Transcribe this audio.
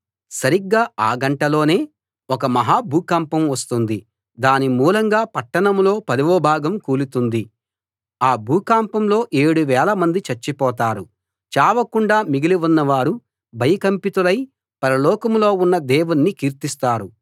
సరిగ్గా ఆ గంటలోనే ఒక మహా భూకంపం వస్తుంది దాని మూలంగా పట్టణంలో పదవ భాగం కూలిపోతుంది ఆ భూకంపంలో ఏడు వేలమంది చచ్చిపోతారు చావకుండా మిగిలి ఉన్నవారు భయకంపితులై పరలోకంలో ఉన్న దేవుణ్ణి కీర్తిస్తారు